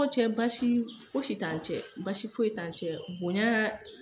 K'o cɛ basi ye, fosi tan cɛ , basi foyi si t'an cɛ bonya